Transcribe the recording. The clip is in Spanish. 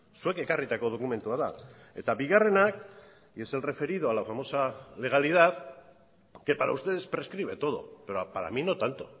zuek ekarritako dokumentua da eta bigarrenak y es el referido a la famosa legalidad que para ustedes prescribe todo pero para mí no tanto